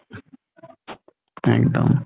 এক্দম